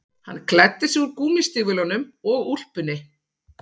Hann klæddi sig úr gúmmístígvélunum og úlpunni